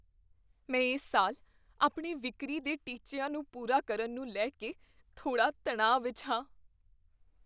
ਮੈਂ ਇਸ ਸਾਲ ਆਪਣੇ ਵਿਕਰੀ ਦੇ ਟੀਚਿਆਂ ਨੂੰ ਪੂਰਾ ਕਰਨ ਨੂੰ ਲੈ ਕੇ ਥੋੜ੍ਹਾ ਤਣਾਅ ਵਿੱਚ ਹਾਂ।